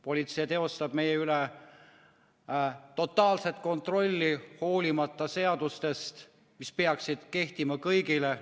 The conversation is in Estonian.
Politsei teostab meie üle totaalset kontrolli, hoolimata seadustest, mis peaksid kehtima kõigile.